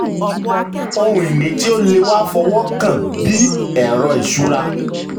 ohun ìní tí o le wa fi ọwọ́ kàn bí ẹrọ iṣura.